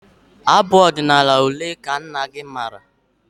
Abụ ọdịnala ole ka nna gị maara?